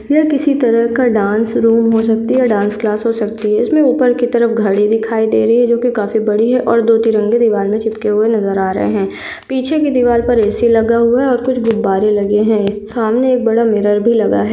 यह किसी तरह का डान्स रूम हो सकती है डान्स क्लास हो सकती है इसमे ऊपर की तरफ घड़ी दिखाई दे रही जो की काफी बड़े है और दो तिरंगे दीवार मे चिपके हुए नजर आ रहे है पीछे कि दिवाल पर ए_सी लगा हुआ है और कुछ गुब्बारे लगे है सामने एक बहुत बड़ा मिरर भी लगा है।